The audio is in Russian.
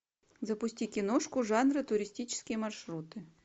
запусти киношку жанра туристические маршруты